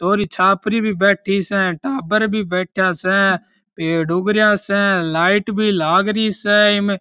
छोरि छापरी भी बैठी स बैठा स टाबर भी बैठ्या स पेड़ उगरया स लाइट भी लागरी से इमे।